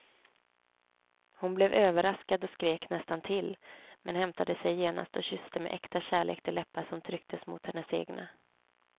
Hon blev överraskad och skrek nästan till, men hämtade sig genast och kysste med äkta kärlek de läppar som trycktes mot hennes egna.